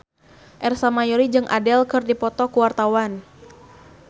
Ersa Mayori jeung Adele keur dipoto ku wartawan